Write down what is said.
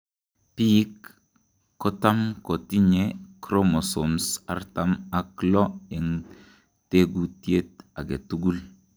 Biik kotam kotinye chromosomes artam ak loo en tekutiet aketukul.